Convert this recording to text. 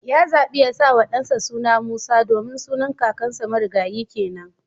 Ya zabi ya sawa dansa suna Musa domin sunan kakansa marigayi kenan